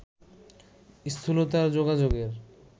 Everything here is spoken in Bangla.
স্থূলতার যোগাযোগের